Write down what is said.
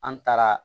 An taara